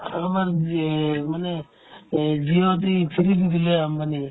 আমাৰ ভি এই মানে এই VIP free দি দিলে আম্বানিয়ে